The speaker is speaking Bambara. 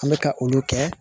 An bɛ ka olu kɛ